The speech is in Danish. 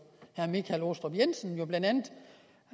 herre michael aastrup jensen